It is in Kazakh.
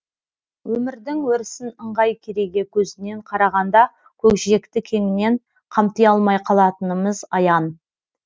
өмірдің өрісін ыңғай кереге көзінен қарағанда көкжиекті кеңінен қамти алмай қалатынымыз аян